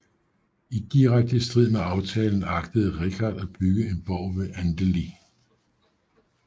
I direkte strid med aftalen agtede Richard at bygge en borg ved Andeli